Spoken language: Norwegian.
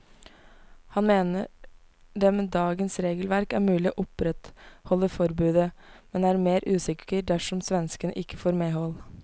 Han mener det med dagens regelverk er mulig å opprettholde forbudet, men er mer usikker dersom svenskene ikke får medhold.